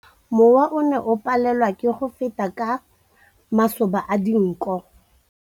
Mowa o ne o palelwa ke go feta ka masoba a dinko.